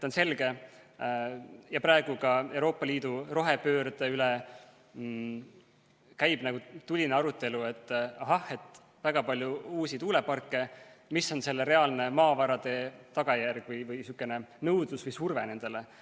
Praegu käib ka Euroopa Liidu rohepöörde üle tuline arutelu, et ahah, väga palju uusi tuuleparke, mis on selle reaalne maavarade tagajärg või nõudlus või surve nendele.